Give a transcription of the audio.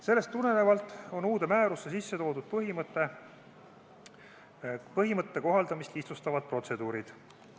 Sellest tulenevalt on uude määrusse sisse toodud põhimõtte kohaldamist lihtsustavad protseduurid.